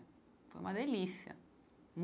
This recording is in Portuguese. Foi uma delícia.